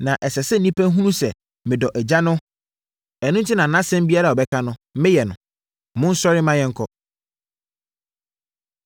Na ɛsɛ sɛ nnipa hunu sɛ medɔ Agya no, ɛno enti na asɛm biara a ɔbɛka no, meyɛ no. “Monsɔre ma yɛnkɔ.”